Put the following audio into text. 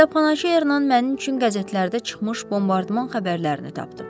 Kitabxanaçı yarından mənim üçün qəzetlərdə çıxmış bombardıman xəbərlərini tapdı.